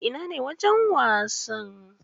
Ina ne wajen wasan?